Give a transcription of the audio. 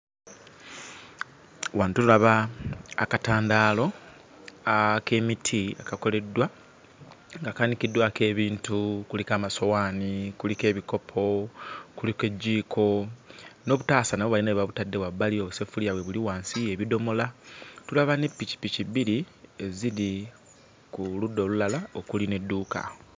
Wano tulaba akatandaalo ak'emiti kakoleddwa nga kaanikiddwako ebintu. Kuliko amasowaani, kuliko ebikopo, kuliko ejjiiko n'obutaasa nabwo bayina we babutadde wabbali, obusefuliya weebuli wansi, ebidomola. Tulaba ne pikipiki bbiri eziri ku ludda olulala okuli n'edduuka.